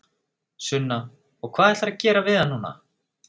Sunna: Og hvað ætlarðu að gera við hann núna?